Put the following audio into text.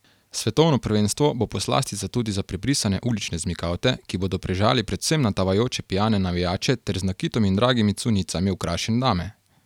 Svetovno prvenstvo bo poslastica tudi za prebrisane ulične zmikavte, ki bodo prežali predvsem na tavajoče pijane navijače ter z nakitom in dragimi cunjicami okrašene dame.